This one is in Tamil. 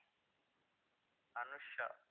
அனுஷா